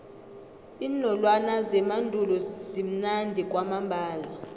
iinolwana zemandulo zimnandi kwamambala